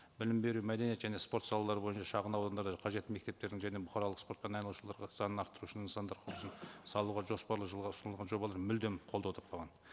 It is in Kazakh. білім беру мәдениет және спорт салалары бойынша шағын аудандарда қажетті мектептердің және бұқаралық спортпен айналысу санын арттыру үшін нысандар құрылысын салуға жоспарлы жылға ұсынылған жобалар мүлдем қолдау таппаған